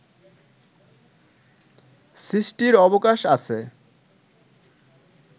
সৃষ্টির অবকাশ আছে